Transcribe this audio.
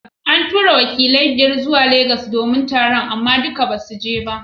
An tura wakilai biyar zuwa lagos domin taron amma duk basu je ba.